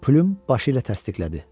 Plym başı ilə təsdiqlədi.